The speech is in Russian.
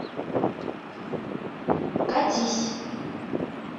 катись